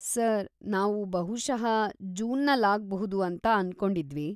Sir, ನಾವು ಬಹುಶಃ ಜೂನಲ್ಲಾಗ್ಬಹುದು ಅಂತ ಅನ್ಕೊಂಡಿದ್ವಿ.